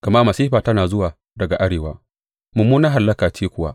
Gama masifa tana zuwa daga arewa, mummunar hallaka ce kuwa.